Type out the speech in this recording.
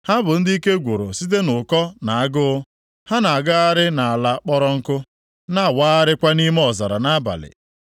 Ha bụ ndị ike gwụrụ site nʼụkọ na agụụ, ha na-agagharị nʼala kpọrọ nkụ na-awagharịkwa nʼime ọzara nʼabalị.